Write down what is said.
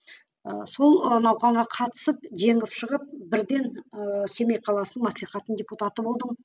ыыы сол науқанға қатысып жеңіп шығып бірден ыыы семей қаласының маслихатының депутаты болдым